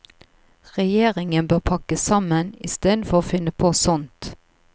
Regjeringen bør pakke sammen, istedenfor å finne på sånt.